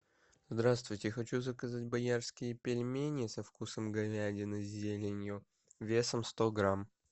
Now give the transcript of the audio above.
здравствуйте хочу заказать боярские пельмени со вкусом говядины с зеленью весом сто грамм